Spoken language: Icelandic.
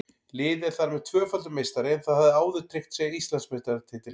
Liðið er þar með tvöfaldur meistari en það hafði áður tryggt sér Íslandsmeistaratitilinn.